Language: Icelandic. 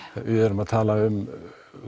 við erum að tala um